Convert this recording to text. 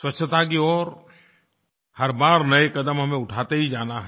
स्वच्छता की ओर हर बार नये कदम हमें उठाते ही जाना है